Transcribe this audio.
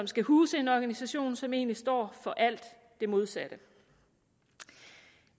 skal huse en organisation som egentlig står for alt det modsatte